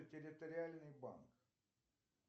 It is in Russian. территориальный банк